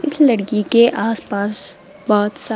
इस लड़की के आसपास बहोत सा--